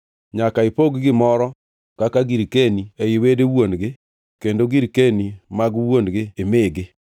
“Wachne jo-Israel ni, ‘Ka dichwo otho ma ok onywolo wuowi, to ipog nyathine ma nyako girkeni mare.